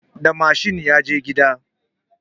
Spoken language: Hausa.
Da mashin ya je gida